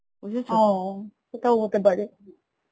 সেটাও হতে পারে